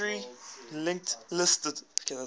circularly linked list